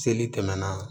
Seli tɛmɛna